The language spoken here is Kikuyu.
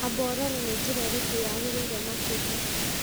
Amba ũrore nĩ njĩra ĩrĩkũ yagĩrĩire makĩria